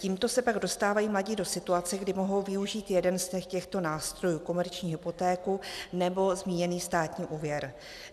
Tímto se pak dostávají mladí do situace, kdy mohou využít jeden z těchto nástrojů - komerční hypotéku, nebo zmíněný státní úvěr.